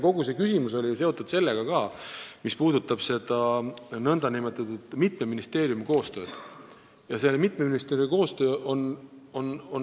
Kogu see küsimus on ju seotud ka sellega, mis puudutab mitme ministeeriumi koostööd, kaasa arvatud Keskkonnaministeerium.